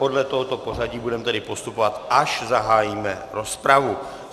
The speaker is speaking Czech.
Podle tohoto pořadí budeme tedy postupovat, až zahájíme rozpravu.